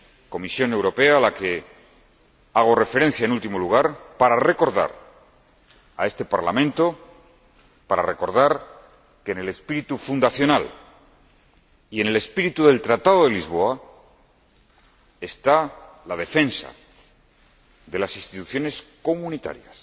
Comisión Europea a la que hago referencia en último lugar para recordar a este Parlamento que, en el espíritu fundacional y en el espíritu del Tratado de Lisboa, está la defensa de las instituciones comunitarias,